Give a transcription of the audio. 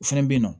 O fɛnɛ bɛ yen nɔ